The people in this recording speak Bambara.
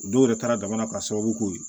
O dɔw yɛrɛ taara jamana ka sababu ko ye